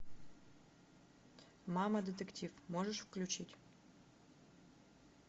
мама детектив можешь включить